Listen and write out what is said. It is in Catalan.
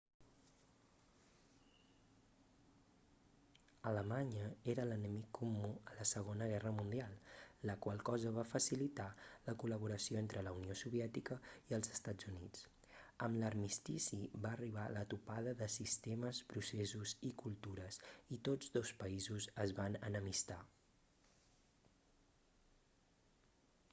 alemanya era l'enemic comú a la segona guerra mundial la qual cosa va facilitar la col·laboració entre la unió soviètica i els estats units amb l'armistici va arribar la topada de sistemes processos i cultures i tots dos països es van enemistar